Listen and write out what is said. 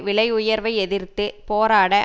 விலை உயர்வை எதிர்த்து போராட